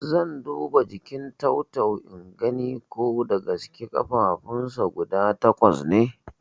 Zan duba jikin tau-tau ingani ko dagaske ƙafafunsa guda takwas ne